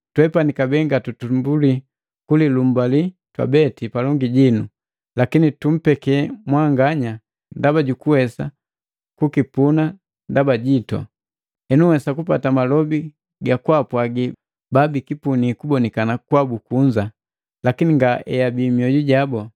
Twepani kabee ngatutumbulii kulilumbali twabeti palongi jinu, lakini tumpeke mwanganya ndaba jukuwesa kukipuna ndaba jitu. Henu nhwesa kupata malobi gakwaapwaagi babikipuni kubonikana kwabu kunza, lakini nga ebii mmwoju jabu.